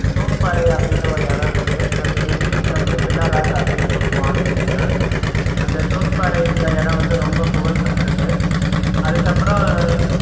தூன்பாறை அப்படின்னு ஒரு எடம் இருக்கு அதுக்கு english ல வந்து pillar rock அப்படின்னு சொலுவோம் ஆங்கிலத்துல அந்த தூண் பாறைன்ற எடம் வந்து ரொம்ப புகழ்பெற்றது அதுக்கப்புறம்